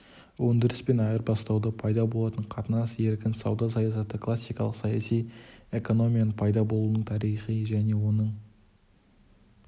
өндіріс пен айырбастауда пайда болатын қатынас еркін сауда саясаты классикалық саяси экономияның пайда болуының тарихы және оның